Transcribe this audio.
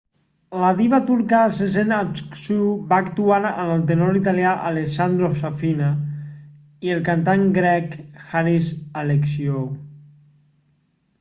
la diva turca sezen aksu va actuar amb el tenor italià alessandro safina i el cantant grec haris alexiou